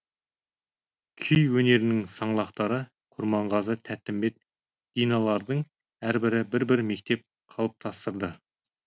күй өнерінің саңлақтары құрманғазы тәттімбет диналардың әрбірі бір бір мектеп қалыптастырды